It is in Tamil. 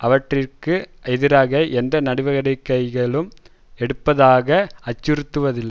அவற்றிற்கு எதிராக எந்த நடவடிக்கையும் எடுப்பதாக அச்சுறுத்தவில்லை